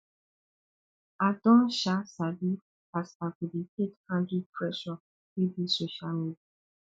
i don um sabi as i go dey take handle pressure wey dey social media